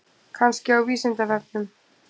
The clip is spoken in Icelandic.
Kannski á Vísindavefnum?